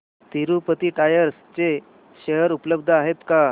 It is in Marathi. तिरूपती टायर्स चे शेअर उपलब्ध आहेत का